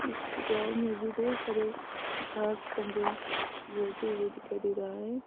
इस ग्राउंड में भी ढेर सारे घास जंगल बढ़ते हुए दिखाई दे रही है।